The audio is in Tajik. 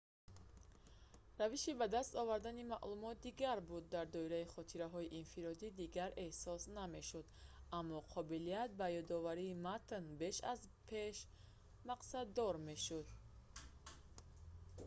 равиши ба даст овардани маълумот дигар буд дар доираи хотираҳои инфиродӣ дигар эҳсос намешуд аммо қобилияти ба ёдоварии матн беш аз беш мақсаддор мешуд